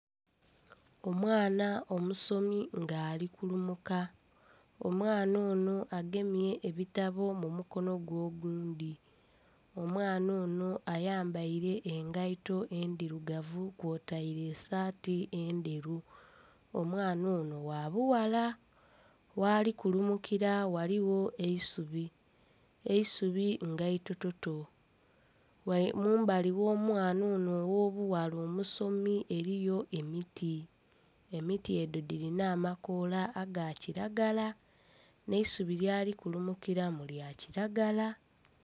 Omwana omusomi nga ali kulumuka, omwana ono agemye ebitabo mumukono gwe ogundhi, omwana ono ayambaire engaito edhirugavu kw'otaire esaati endheru. Omwana ono gha bughala ghali kulumukira ghaligho eisubi, eisubi nga ito toto mumbali gh'omwana ono ogho obughala omusomi eriyo emiti, emiti edho dhirina amakoola aga kiragala n'eisubi lyali kumukiramu lya kiragala.